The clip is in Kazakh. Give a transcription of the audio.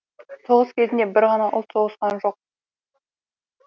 соғыс кезінде бір ғана ұлт соғысқан жоқ